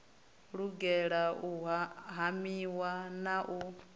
lugela u hamiwa na u